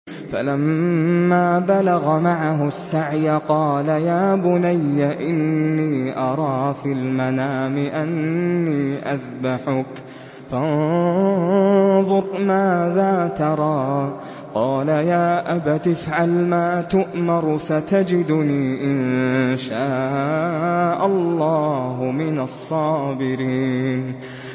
فَلَمَّا بَلَغَ مَعَهُ السَّعْيَ قَالَ يَا بُنَيَّ إِنِّي أَرَىٰ فِي الْمَنَامِ أَنِّي أَذْبَحُكَ فَانظُرْ مَاذَا تَرَىٰ ۚ قَالَ يَا أَبَتِ افْعَلْ مَا تُؤْمَرُ ۖ سَتَجِدُنِي إِن شَاءَ اللَّهُ مِنَ الصَّابِرِينَ